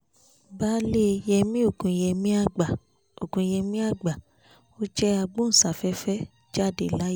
baálé yẹmi ògùnyẹmíàgbà ògùnyẹmíàgbà ọ̀jẹ̀ agbóhùnsáfẹ́fẹ́ jáde láyé